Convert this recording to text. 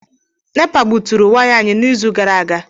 Nepa gbuturu waya anyị n'izu gara aga.